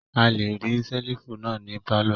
A le rí ṣẹ́lífù náà ní pálọ̀.